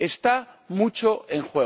Está mucho en